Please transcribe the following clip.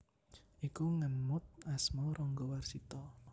Iku ngemot asma Ranggawarsita